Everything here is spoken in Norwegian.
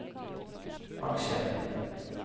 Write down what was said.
aksjer